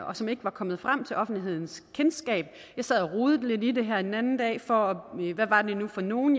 og som ikke var kommet frem til offentlighedens kendskab jeg sad og rodede lidt i det her den anden dag for hvad var det nu for nogle